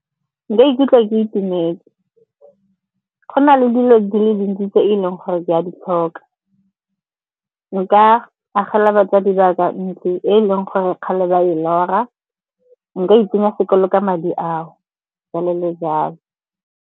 Nka ikutlwa ke itumetse. Go na le dilo di le dintsi tse e leng gore ke a ditlhokwa. Nka agela batsadi ba ka ntlo e leng gore kgale ba e lora, nka itsenya sekolo ka madi ao, jalo le jalo.